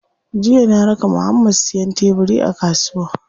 Jiya na raka Muhammad siyan tebiri a kasuwa.